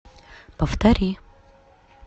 повтори